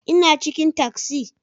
Ina cikin taksi